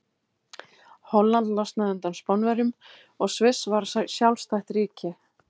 Holland losnaði undan Spánverjum og Sviss varð sjálfstætt ríki.